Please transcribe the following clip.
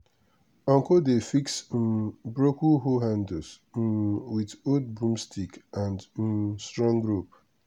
uncle dey fix um broken hoe handles um with old broomsticks and um strong rope.